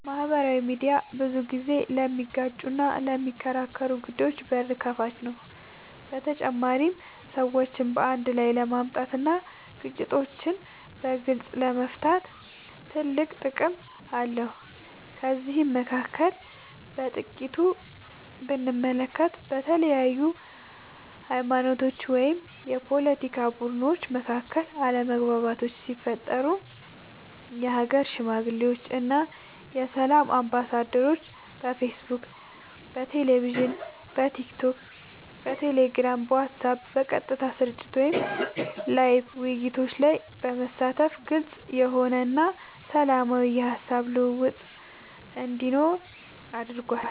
ማህበራዊ ሚድያ ብዙ ጊዜ ለሚጋጩና ለሚከራከሩ ጉዳዮች በር ከፋች ነው በተጨማሪም ሰዎችን አንድ ላይ ለማምጣት እና ግጭቶችን በግልፅ ለመፍታት ትልቅ ጥቅም አለው ከነዚህም መካከል በጥቂቱ ብንመለከት በተለያዩ ሀይማኖቶች ወይም የፓለቲካ ቡድኖች መካከል አለመግባባቶች ሲፈጠሩ የሀገር ሽማግሌዎች እና የሰላም አምባሳደሮች በፌስቡክ በቴሌቪዥን በቲክቶክ በቴሌግራም በዋትስአብ በቀጥታ ስርጭት ወይም ላይቭ ውይይቶች ላይ በመሳተፍ ግልፅ የሆነ እና ሰላማዊ የሀሳብ ልውውጥ እንዲኖር አድርጓል።